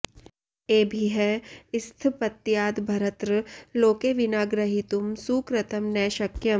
एभिः स्थपत्यादभरत्र लोके विना ग्रहीतुं सुकृतं न शक्यम्